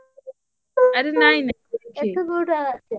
ଆରେ ନାଇଁ ନାଇଁ।